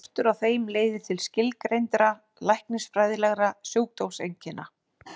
Skortur á þeim leiðir til skilgreindra læknisfræðilegra sjúkdómseinkenna.